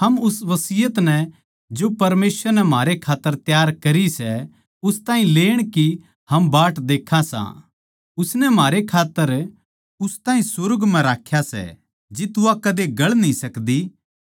हम उस वसियत नै जो परमेसवर नै म्हारे खात्तर तैयार करी सै उस ताहीं लेण की हम बाट देक्खां सां उसनै म्हारे खात्तर उस ताहीं सुर्ग म्ह राख्या सै जित्त वा कदे गळ न्ही सकदी